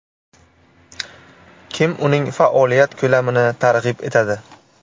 Kim uning faoliyat ko‘lamini targ‘ib etadi?